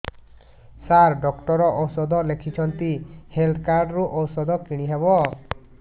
ସାର doctor ଔଷଧ ଲେଖିଛନ୍ତି health card ରୁ ଔଷଧ କିଣି ହେବ